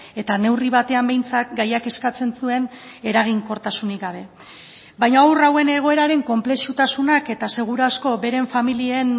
eta neurri batean behintzat gaiak eskatzen zuen eraginkortasunik gabe baina haur hauen egoeraren konplexutasunak eta seguru asko beren familien